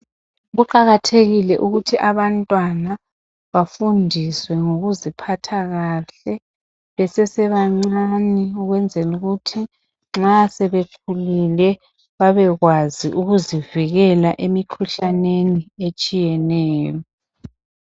Kuqakathekile ukuthi abantwana bafundiswe ngokuziphatha kahle besesebancane ukwenzela ukuthi nxa sebekhulile babekwazi ukuzivikela emikhuhlaneni etshiyeneyo.